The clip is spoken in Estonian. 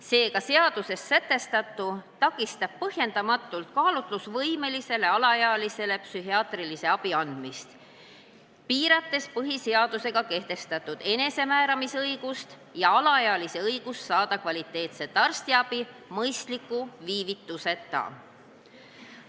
Seega, seaduses sätestatu takistab põhjendamatult kaalutlusvõimelisele alaealisele noorele psühhiaatrilise abi andmist, piirates tema põhiseadusega kehtestatud enesemääramisõigust ja õigust saada kvaliteetset arstiabi mõistliku viivituseta.